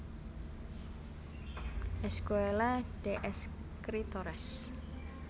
Escuela de Escritores